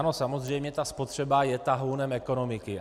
Ano, samozřejmě, ta spotřeba je tahounem ekonomiky.